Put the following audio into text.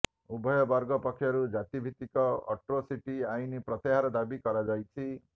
ଉଭୟ ବର୍ଗ ପକ୍ଷରୁ ଜାତିଭିତ୍ତିକ ଆଟ୍ରୋସିଟି ଆଇନ ପ୍ରତ୍ୟାହାର ଦାବି କରାଯାଇଛି